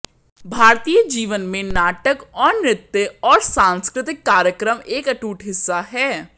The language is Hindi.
भारतीय जीवन में नाटक और नृत्य और सांस्कृतिक कार्यक्रम एक अटूट हिस्सा है